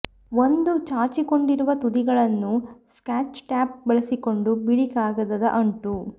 ಒಂದು ಚಾಚಿಕೊಂಡಿರುವ ತುದಿಗಳನ್ನು ಸ್ಕಾಚ್ ಟೇಪ್ ಬಳಸಿಕೊಂಡು ಬಿಳಿ ಕಾಗದದ ಅಂಟು